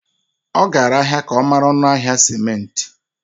Ọ gara ahịa ka ọ mara ọnụ ahịa simenti.